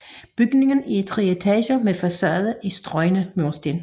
Bygningen er i tre etager med facade i strøgne mursten